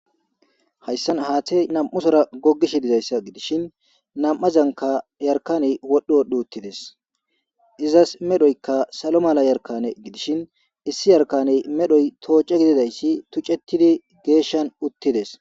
Hayssan haate nam'usora gogish dizayssa gidishin nam'azanka yarkaney wodho wodhdhu uttides izas medhoykka salo mala yarkane gidishin issi yarkaney medhoy tooce gididayssi tucettidi geeshshan uttides.